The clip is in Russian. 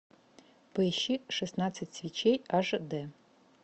поищи шестнадцать свечей аш дэ